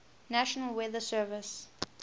national weather service